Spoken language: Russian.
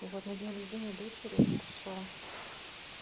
и вот на день рождения дочери он пришёл